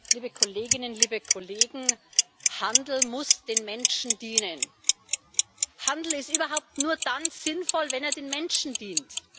Frau Präsidentin, liebe Kolleginnen, liebe Kollegen! Der Handel muss den Menschen dienen. Handel ist überhaupt nur dann sinnvoll, wenn er den Menschen dient